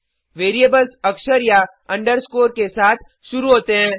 variables अक्षर या underscore के साथ शुरू होते हैं